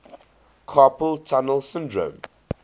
carpal tunnel syndrome